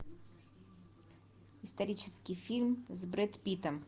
исторический фильм с брэд питтом